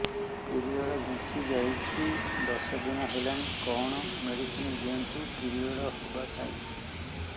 period ଘୁଞ୍ଚି ଯାଇଛି ଦଶ ଦିନ ହେଲାଣି କଅଣ ମେଡିସିନ ଦିଅନ୍ତୁ ପିରିଅଡ଼ ହଵା ପାଈଁ